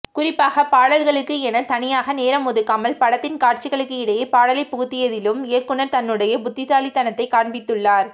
குறிப்பாக பாடல்களுக்கு என தனியாக நேரம் ஒதுக்காமல் படத்தின் காட்சிகளுக்கு இடையே பாடலை புகுத்தியதிலும் இயக்குனர் தன்னுடைய புத்திசாலித்தனத்தை காண்பித்துள்ளார்